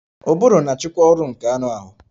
Ụbụrụ na-achịkwa ọrụ nke anụ ahụ